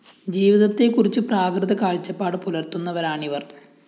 ജീവിതത്തെക്കുറിച്ച് പ്രാകൃത കാഴ്ച്ചപ്പാട് പുലര്‍ത്തുന്നവരാണിവര്‍